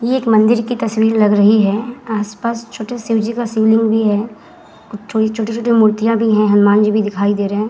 ये एक मंदिर की तस्वीर लग रही है। आस-पास छोटे शिव जी का शिवलिंग भी है। थोड़ी छोटी-छोटी मूर्तियाँ भी है। हनुमान जी भी दिखाई दे रहे है।